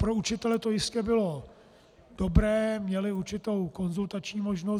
Pro učitele to jistě bylo dobré, měli určitou konzultační možnost.